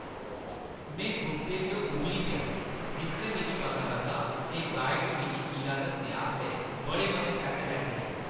में गुस्से च उंबली पेआ जिसलै मिगी पता लग्गा जे गाइड ने मिगी किला दस्सने आस्तै बड़े मते पैहे लैते हे।